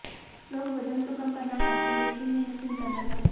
लोग वजन तो कम करना चाहते हैं लेकिन मेहनत नहीं करना चाहते